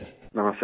नमस्ते सर